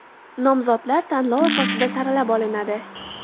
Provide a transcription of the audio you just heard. Nomzodlar tanlov asosida saralab olinadi.